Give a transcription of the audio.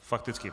Fakticky.